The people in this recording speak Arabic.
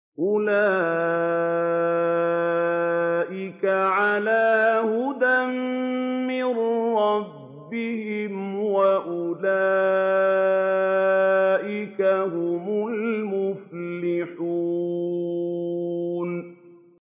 أُولَٰئِكَ عَلَىٰ هُدًى مِّن رَّبِّهِمْ ۖ وَأُولَٰئِكَ هُمُ الْمُفْلِحُونَ